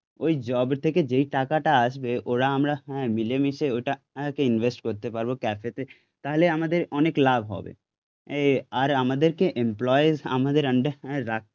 ওই জব থেকে যেই টাকাটা আসবে ওরা আমরা মিলেমিশে ওটাকে ইনভেস্ট করতে পারবো ক্যাফে তে, তাহলে আমাদের অনেক লাভ হবে এ আর আমাদেরকে এমপ্লয়ীজ আমাদের আন্ডার এ রাখ